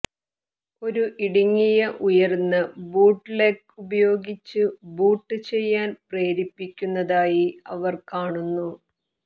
ഒരു ഇടുങ്ങിയ ഉയർന്ന ബൂട്ലെഗ് ഉപയോഗിച്ച് ബൂട്ട് ചെയ്യാൻ പ്രേരിപ്പിക്കുന്നതായി അവർ കാണുന്നു